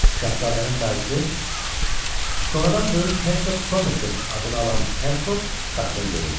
Şahzadənin dayısı sonradan böyük Hersoq Somerset adını alan Herford qapıda göründü.